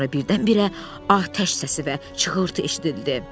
Sonra birdən-birə atəş səsi və çığırtı eşidildi.